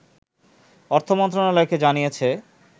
অর্থমন্ত্রণালয়কে জানিয়েছে